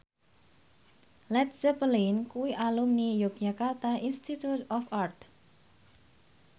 Led Zeppelin kuwi alumni Yogyakarta Institute of Art